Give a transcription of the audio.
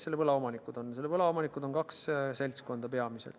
Selle võla omanikud on peamiselt kaks seltskonda.